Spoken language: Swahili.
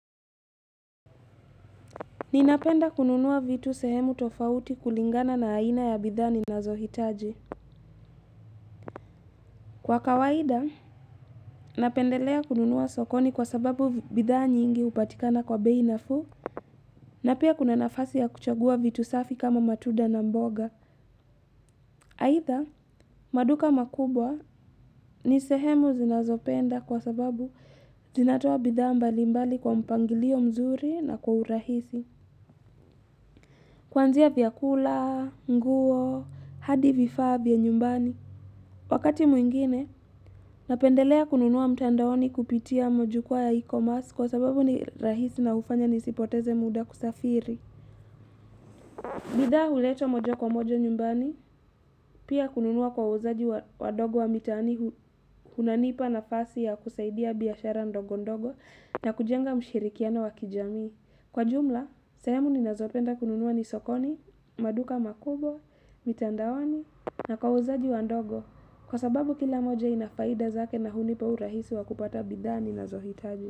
Ninapenda kununua vitu sehemu tofauti kulingana na aina ya bidhaa ninazohitaji Kwa kawaida, napendelea kununua sokoni kwa sababu bidhaa nyingi hupatikana kwa bei nafuu na pia kuna nafasi ya kuchagua vitu safi kama matuda na mboga. Haitha, maduka makubwa ni sehemu zinazopenda kwa sababu zinatoa bidhaa mbali mbali kwa mpangilio mzuri na kwa urahisi. Kuanzia vyakula, nguo, hadi vifaa vya nyumbani. Wakati mwingine, napendelea kununua mtandaoni kupitia majukwaa ya e-commerce kwa sababu ni rahisi na ufanya nisipoteze muda kusafiri. Bidhaa huletwa moja kwa moja nyumbani, pia kununua kwa wauzaji wadogo wa mitaani kunanipa nafasi ya kusaidia biashara ndogo ndogo na kujenga mshirikiano wa kijami. Kwa jumla, sehemu ninazopenda kununua ni sokoni, maduka makubwa, mitandaoni na kwa wauzaji wandogo. Kwa sababu kila moja inafaida zake na hunipa urahisi wa kupata bidhaa ninazohitaji.